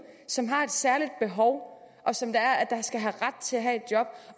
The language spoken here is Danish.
som har et særligt behov og som skal have ret til at have et job